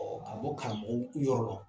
Ɔ a bɔ karamɔgɔw yɔrɔ lɔ